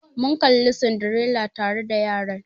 Mun Kalli Cinderella tare da yaran.